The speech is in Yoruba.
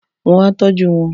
Wọ́n á tọ́jú wọn-on.